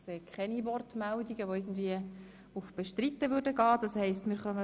– Ich sehe keine Wortmeldungen, die darauf hinweisen, dass dies nicht der Fall ist.